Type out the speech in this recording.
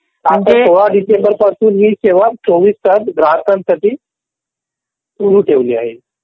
म्हणजे आता सोळा डिसेंबर पासून ही सेवा चौवीस तास ग्राहकांसाठी सुरू ठेवली आहे.